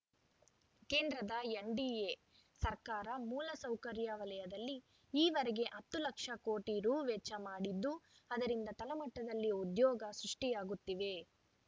ಕೇಂದ್ರದ ಎನ್‌ಡಿಎ ಸರ್ಕಾರ ಮೂಲಸೌಕರ್ಯ ವಲಯದಲ್ಲಿ ಈವರೆಗೆ ಹತ್ತು ಲಕ್ಷ ಕೋಟಿ ರು ವೆಚ್ಚ ಮಾಡಿದ್ದು ಅದರಿಂದ ತಳಮಟ್ಟದಲ್ಲಿ ಉದ್ಯೋಗ ಸೃಷ್ಟಿಯಾಗುತ್ತಿವೆ